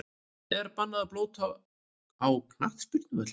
Er bannað að blóta á knattspyrnuvöllum?!